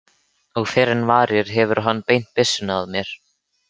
Og fyrr en varir hefur hann beint byssunni að mér.